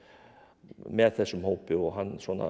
með þessum hópi og hann